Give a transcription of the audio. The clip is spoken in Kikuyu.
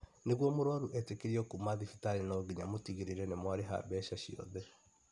Nĩgũo mũrwaru etĩkĩrio kũuma thibitarĩ no nginya mũtigĩrĩre nĩ mwarĩha mbeca ciothe